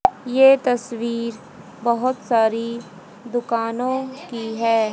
ये तस्वीर बहोत सारी दुकानों की है।